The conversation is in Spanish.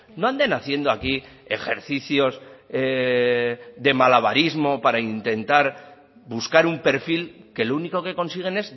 no anden haciendo aquí ejercicios de malabarismo para intentar buscar un perfil que lo único que consiguen